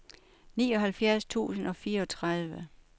nioghalvfjerds tusind og fireogtredive